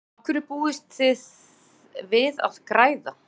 Af hverju búist þið við að græða?